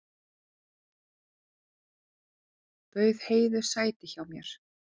Bauð Heiðu sæti hjá mér.